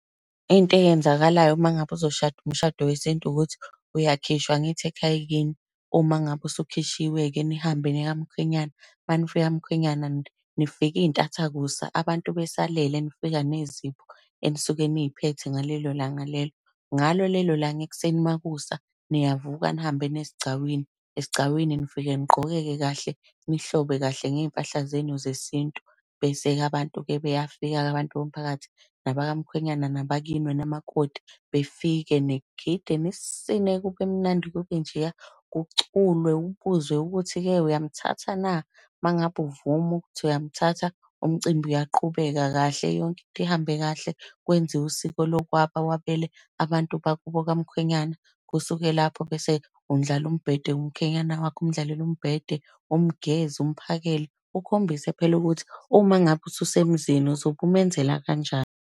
Into eyenzakalayo uma ngabe uzoshada umshado weSintu, ukuthi uyakhishwa angithi ekhaya kini. Uma ngabe usukhishiwe-ke, nihambe niye kamkhwenyana. Uma nifika kamkhwenyana, nifika iy'ntathakusa, abantu besalele, nifika nezipho enisuke niy'phethe ngalelo langa lelo. Ngalo lelo langa ekuseni makusa, niyavuka, nihambe niye esigcawini. Esigcawini nifike nigqoke-ke kahle nihlobe kahle ngey'mpahla zenu zeSintu. Bese-ke abantu-ke beyafika-ke abantu bomphakathi, nabakamkhwenyana nabakini wena makoti, befike, nigide, nisine kube mnandi, kube njeya. Kuculwe, ubuzwe ukuthi-ke uyamthatha na? Uma ngabe uvuma ukuthi uyamthatha, umcimbi uyaqhubeka kahle yonke into ihambe kahle, kwenziwe usiko lokwaba wabele abantu bakubo kamkhwenyana. Kusuke lapho bese undlala umbhede womkhwenyana wakho, umdlalele umbhede, umugeze, umphakele. Ukhombise phela ukuthi uma ngabe usu semzini uzobe umenzela kanjani.